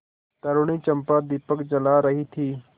तरूणी चंपा दीपक जला रही थी